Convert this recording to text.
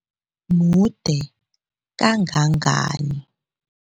Mude kangangani?